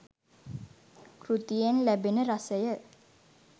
කෘතියෙන් ලැබෙන රසය